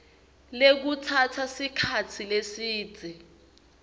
lekutsatsa sikhatsi lesidze